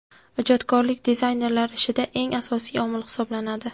Ijodkorlik dizaynerlar ishida eng asosiy omil hisoblanadi.